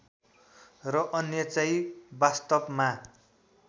र अन्यचाहिँ वास्तवमा